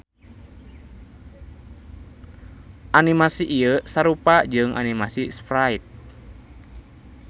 Animasi ieu sarupa jeung animasi sprite.